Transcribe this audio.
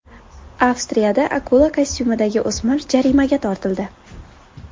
Avstriyada akula kostyumidagi o‘smir jarimaga tortildi.